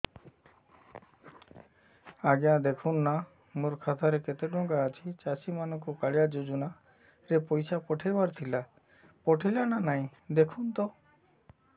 ଆଜ୍ଞା ଦେଖୁନ ନା ମୋର ଖାତାରେ କେତେ ଟଙ୍କା ଅଛି ଚାଷୀ ମାନଙ୍କୁ କାଳିଆ ଯୁଜୁନା ରେ ପଇସା ପଠେଇବାର ଥିଲା ପଠେଇଲା ନା ନାଇଁ ଦେଖୁନ ତ